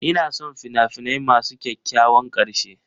Ina son fina-finai masu kyakkyawan ƙarshe.